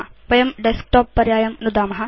वयं डेस्कटॉप पर्यायं नुदाम